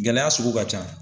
Gɛlɛya sugu ka can.